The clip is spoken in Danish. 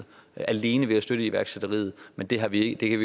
alene ved at støtte iværksætteriet men det kan vi ikke